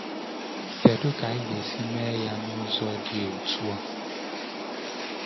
Kedu ka anyị ga-esi mee ya n’ụzọ dị otu a?